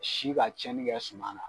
Si ka tiɲɛni kɛ suma na